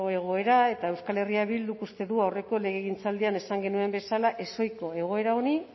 egoera eta euskal herria bilduk uste du aurreko legegintzaldian esan genuen bezala ezohiko egoera honi